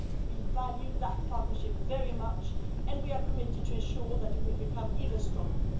We value that partnership very much and we are committed to ensuring that it will become even stronger.